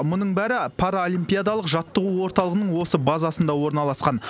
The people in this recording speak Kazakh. мұның бәрі паралимпиадалық жаттығу орталығының осы базасында орналасқан